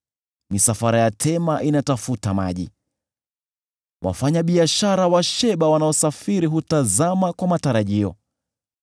Misafara ya Tema inatafuta maji, wafanyabiashara wa Sheba wanaosafiri hutazama kwa matarajio.